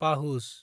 पाहुज